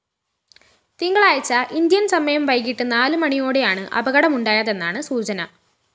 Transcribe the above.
തിങ്കളാഴ്ച ഇന്ത്യന്‍ സമയം വൈകിട്ട് നാല് മണിയോടെയാണ് അപകടമുണ്ടായതെന്നാണ് സൂചന